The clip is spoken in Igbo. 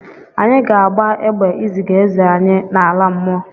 Anyị ga-agba egbe iziga eze anyị n'ala mmụọ.